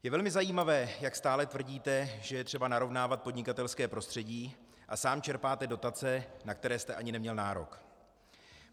Je velmi zajímavé, jak stále tvrdíte, že je třeba narovnávat podnikatelské prostředí, a sám čerpáte dotace, na které jste ani neměl nárok.